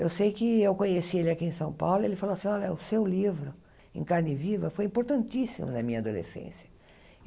Eu sei que eu conheci ele aqui em São Paulo e ele falou assim, olha, o seu livro, Em Carne Viva, foi importantíssimo na minha adolescência.